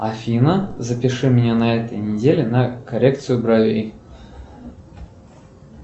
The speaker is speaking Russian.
афина запиши меня на этой неделе на коррекцию бровей